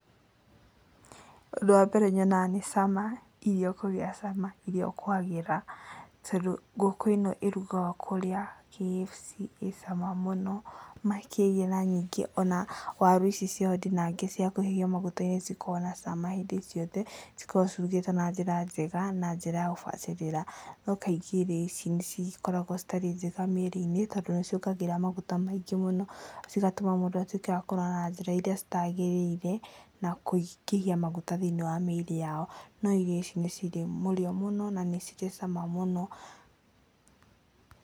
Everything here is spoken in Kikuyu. Ũndũ wambere nyonaga nĩ cama, irio kũgĩa cama, irio kwagĩra, tondũ ngũkũ ĩno ĩrugagwo kũrĩa KFC ĩcama mũno makĩrĩa, ona waru ici ciao ndinangie cia kũhĩhio maguta-inĩ nĩ cikoragwo na cama hĩndĩ ciothe. Cikoragwo cirugĩtwo na njĩra njega na njĩra ya gũbacĩrĩra. No kaingĩ irio ici nĩ cigĩkoragwo citarĩ njega mĩĩrĩ-inĩ, tondũ nĩ ciongagĩrĩra maguta maingĩ mũno, cigatũma mũndũ atuĩke wakũnora na njĩra iria citagĩrĩire, na kũingĩhia maguta thĩiniĩ wa mĩĩrĩ yao. No irio ici nĩ cirĩ mũrĩo mũno, na nĩ cirĩ cama mũno.